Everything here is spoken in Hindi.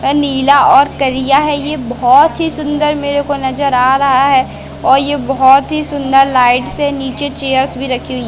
नीला और करिया है ये बहोत ही सुंदर मेरे को नज़र आ रहा है और ये बहोत ही सुन्दर लाइट से नीचे चेयर्स भी रखी हुई हैं।